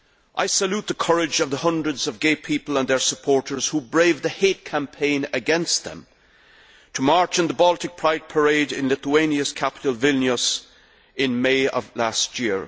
I salute the courage of the hundreds of gay people and their supporters who braved the hate campaign against them to march in the Baltic Pride parade in Lithuania's capital, Vilnius, in May of last year.